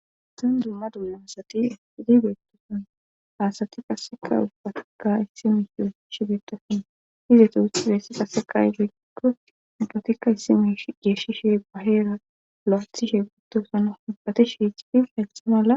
Sonn dumma dumma asati hidibeettoosan haasati qaseka ubbatikka issime hu shibeetosina hizetu husi beessi qaseka izayikko ubbatikka issime geeshshi she baheera lo7osishe guttosana hubbati shiic fi laeysthe mala.